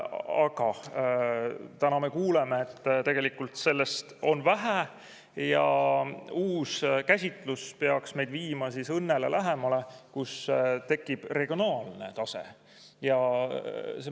Aga täna me kuuleme, et tegelikult sellest on vähe ja uus käsitlus peaks meid viima õnnele lähemale, nii et tekib regionaalne tase.